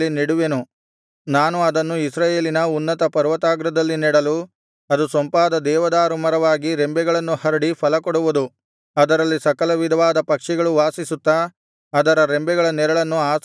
ನಾನು ಅದನ್ನು ಇಸ್ರಾಯೇಲಿನ ಉನ್ನತ ಪರ್ವತಾಗ್ರದಲ್ಲಿ ನೆಡಲು ಅದು ಸೊಂಪಾದ ದೇವದಾರು ಮರವಾಗಿ ರೆಂಬೆಗಳನ್ನು ಹರಡಿ ಫಲಕೊಡುವುದು ಅದರಲ್ಲಿ ಸಕಲವಿಧವಾದ ಪಕ್ಷಿಗಳು ವಾಸಿಸುತ್ತಾ ಅದರ ರೆಂಬೆಗಳ ನೆರಳನ್ನು ಆಶ್ರಯಿಸುವವು